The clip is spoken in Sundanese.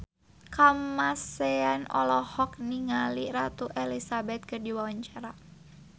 Kamasean olohok ningali Ratu Elizabeth keur diwawancara